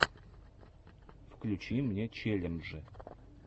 включи мне челленджи